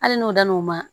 Hali n'u dan n'u ma